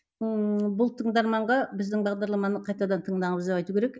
ыыы бұл тыңдарманға біздің бағдарламаны қайтадан тыңдаңыз деп айту керек